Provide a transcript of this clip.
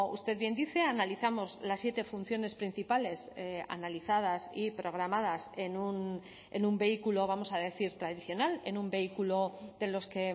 usted bien dice analizamos las siete funciones principales analizadas y programadas en un vehículo vamos a decir tradicional en un vehículo de los que